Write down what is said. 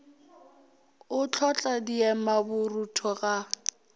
o hlotla diema borutho ga